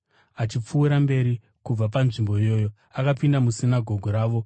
Achipfuurira mberi kubva panzvimbo iyoyo, akapinda musinagoge ravo,